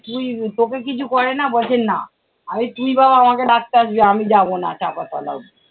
তুই তোকে কিছু করে না? বলছে, না আমি তুই বাবা আমাকে ডাকতে আসবি আমি যাবো না চাপা তলা অবধি।